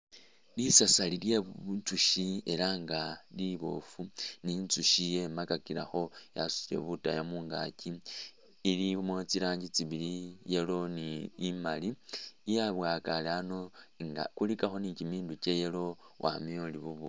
Lisasari lye butsushi ela nga liboofu ni i tsushi ye makakilekho yasutile budaya mungakyi ilimo tsi rangi tsi bili yellow ni imali yebwakale ano nga kulikakho ni kyimindu kya yellow wamayo uri bu bushi.